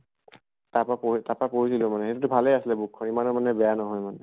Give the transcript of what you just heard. তাৰ পা পঢ়ি তাৰ পা পঢ়িছিলো মানে কিন্তু ভালে আছিলে book খন ইমানো মানে বেয়া নহয় মানে।